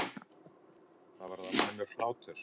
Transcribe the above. Það varð almennur hlátur.